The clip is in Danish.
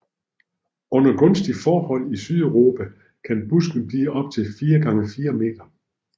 Under gunstige forhold i Sydeuropa kan busken blive op til 4 x 4 m